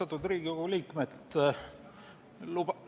Austatud Riigikogu liikmed!